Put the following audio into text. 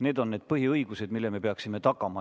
Need on need põhiõigused, mille me peaksime tagama.